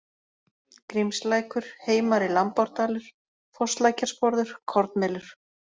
Grímslækur, Heimari-Lambárdalur, Fosslækjarsporður, Kornmelur